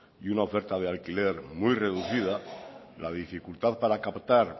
y una oferta de alquiler muy reducida la dificultad para captar